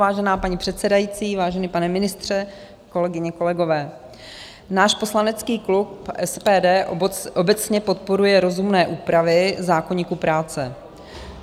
Vážená paní předsedající, vážený pane ministře, kolegyně, kolegové, náš poslanecký klub SPD obecně podporuje rozumné úpravy zákoníku práce.